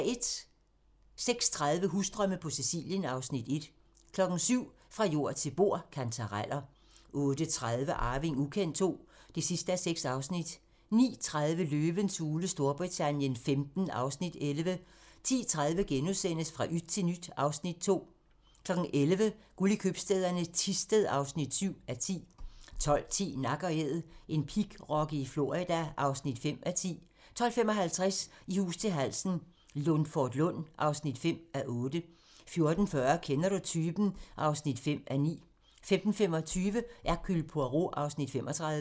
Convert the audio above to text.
06:30: Husdrømme på Sicilien (Afs. 1) 07:00: Fra jord til bord: Kantareller 08:30: Arving ukendt II (6:6) 09:30: Løvens hule Storbritannien XV (Afs. 11) 10:30: Fra yt til nyt (Afs. 2)* 11:00: Guld i købstæderne - Thisted (7:10) 12:10: Nak & Æd - en pigrokke i Florida (5:10) 12:55: I hus til halsen - Lundforlund (5:8) 14:40: Kender du typen? (5:9) 15:25: Hercule Poirot (35:75)